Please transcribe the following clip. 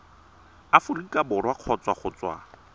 aforika borwa kgotsa go tswa